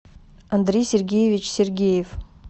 андрей сергеевич сергеев